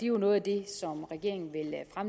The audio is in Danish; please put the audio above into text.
jo noget af det som regeringen